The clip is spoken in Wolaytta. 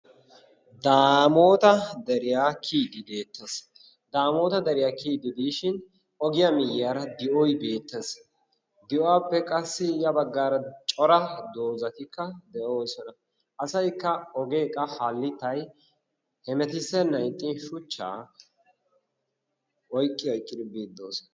Daamoota deriyaa kiyiiddi deettees. Daamoota deriyaa kiyiiddi diishin ogiyaa miyyiyaara di'oy beettees. Di'uwaappe qassi ya baggaara cora dozzatikka de'oosona. asayikka ogee qa hallittyi hemetissennan ixxiin shuchchaa oyikki oyikkidi biiddi doosona.